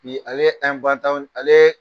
ale ye ale ye